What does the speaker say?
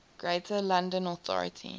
greater london authority